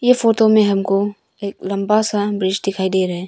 ये फोटो में हमको एक लंबा सा ब्रिज दिखाई दे रहे हैं।